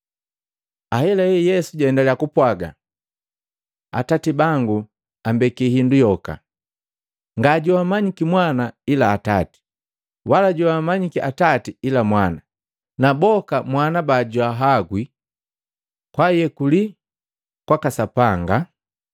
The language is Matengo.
Ahelahela Yesu jaendaliya kupwaaga, “Atati bangu ambeki hindu yoka. Nga joammanyiki mwana ila Atati, wala joamanyiki Atati ila mwana, na boka Mwana bajwahagwi kwaayekuli kwaka Sapanga.”